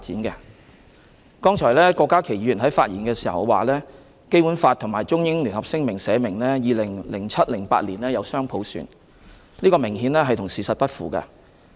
剛才郭家麒議員在發言時指《基本法》和《中英聯合聲明》訂明香港可在 2007-2008 年度實行雙普選，這明顯與事實不符。